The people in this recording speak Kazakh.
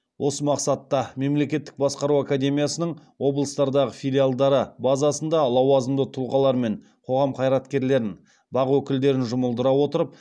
осы мақсатта мемлекеттік басқару академиясының облыстардағы филиалдары базасында лауазымды тұлғалар мен қоғам қайраткерлерін бақ өкілдерін жұмылдыра отырып